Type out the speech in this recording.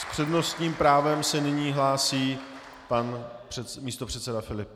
S přednostním právem se nyní hlásí pan místopředseda Filip.